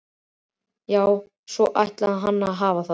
Já, svona ætlaði hann að hafa það.